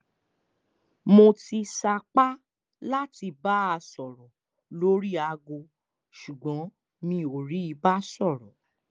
mo ti sapá láti bá a sọ̀rọ̀ lórí aago ṣùgbọ́n mi ò rí i bá sọ̀rọ̀